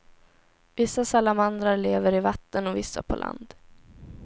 Vissa salamandrar lever i vatten och vissa på land.